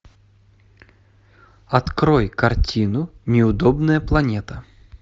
открой картину неудобная планета